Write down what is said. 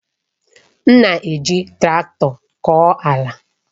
M na-eji traktọ kọọ ala.